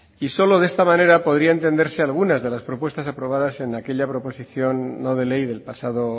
y solo de esta manera podría entenderse algunas de las propuestas aprobadas en aquella proposición no de ley del pasado